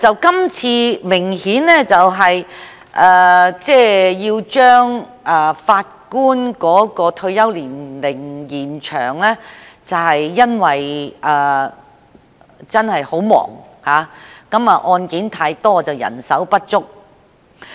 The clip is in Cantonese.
今次把法官的退休年齡延展，是因為法官真的十分忙碌，案件太多但人手不足。